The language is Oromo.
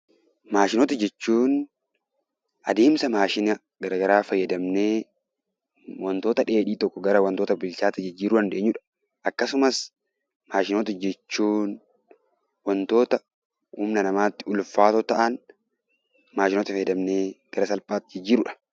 Maashinoota jechuun adeemsa maashina gara garaa fayyadamnee wantoota dheedhii tokko gara wanta bilchaate jijjiiruu dandeenyudha. Akkasumas maashinoota jechuun wantoota humna namaatti ulfaatoo ta'an maashinoota fayyadamnee gara salphaatti jijjiirrudha.